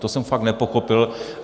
To jsem fakt nepochopil.